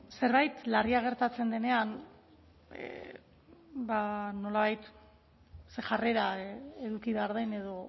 zerbait larria gertatzen denean nolabait ze jarrera eduki behar den edo